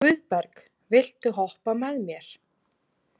Guðberg, viltu hoppa með mér?